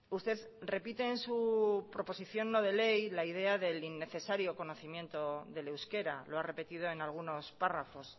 usted repite en su proposición no de ley la idea del innecesario conocimiento del euskera lo ha repetido en algunos párrafos